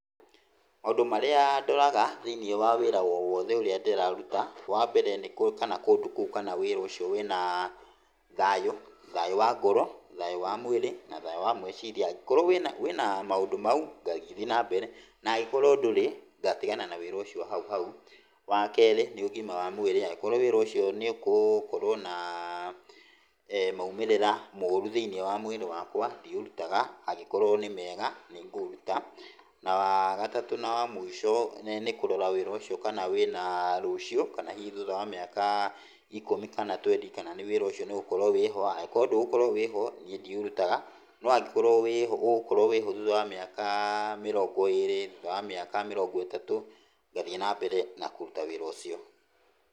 Maũndũ marĩa ndoraga thĩinĩ wa wĩra o wothe ũrĩa ndĩraruta, wambere kana kũndũ kũu, kana wĩra ũcio wĩna thayũ, thayũ wa ngoro, thayũ wa mwĩrĩ, na thayũ wa meciria. Angĩkorwo wĩna maũndũ macio, ngagĩthiĩ nambere, angĩkorwo ndũrĩ, ngatigana na wĩra ũcio hau hau. Wa kerĩ, nĩ ũgima wa mwĩrĩ. Angĩkorwo wĩra ũcio nĩ ũgũkorwo na maũmĩrĩra moru thĩinĩ wa mwĩrĩ wakwa, ndiũrutaga. Akorwo nĩmega, nĩ ngũũruta. Na wagatatũ na wa mũico nĩ kũrora kana wĩra ũcio wĩna cũcio kana hihi thutha wa mĩaka ikũmi kana wĩra ũcio nĩ ũgũkorwo-ho, angĩkorwo ndũgũkorwo-ho, niĩ ndiũrutaga, na angĩkorwo ũgũkorwo-ho thutha wa mĩaka mĩrongo ĩrĩ, thutha wa mĩaka mĩrongo ĩtatũ, ngathiĩ nambere kũruta wĩra ũcio.